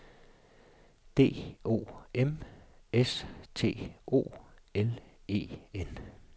D O M S T O L E N